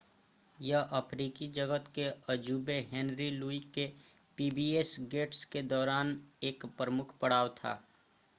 यह अफ्रीकी जगत के अजूबे हेनरी लुई के पीबीएस गेट्स के दौरान एक प्रमुख पड़ाव था